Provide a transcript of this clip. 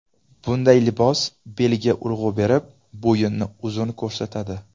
Bunday libos belga urg‘u berib, bo‘yinni uzun ko‘rsatadi.